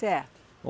Certo.